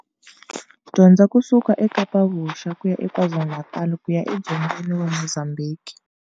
Dzonga ku suka e Kapa Vuxa, ku ya eKwaZulu-Natal ku ya edzongeni wa Mozambhiki.